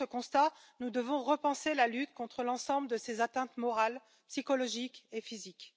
devant ce constat, nous devons repenser la lutte contre l'ensemble de ces atteintes morales, psychologiques et physiques.